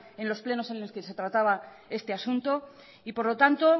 en los plenos en los que se trataba este asunto y por lo tanto